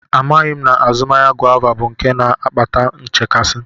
Amaghị m na azụmahịa gọva bụ nke a na-akpata nchekasị.